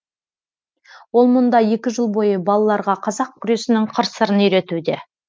ол мұнда екі жыл бойы балаларға қазақ күресінің қыр сырын үйретуде